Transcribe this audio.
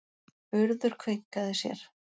Urður kveinkaði sér.